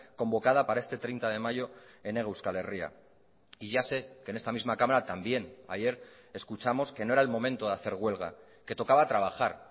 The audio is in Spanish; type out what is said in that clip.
convocada para este treinta de mayo en hego euskal herria y ya sé que en esta misma cámara también ayer escuchamos que no era el momento de hacer huelga que tocaba trabajar